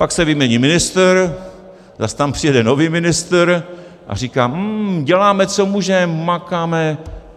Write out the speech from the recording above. Pak se vymění ministr, zas tam přijede nový ministr a říká - hm, děláme, co můžeme, makáme.